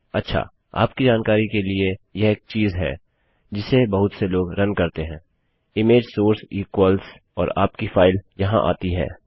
अच्छा आपकी जानकारी के लिए यह एक चीज़ है जिसे बहुत से लोग रन करते हैं इमेज सोर्स इक्वल्स और आपकी फाइल यहाँ आती है